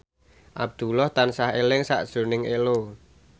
Abdullah tansah eling sakjroning Ello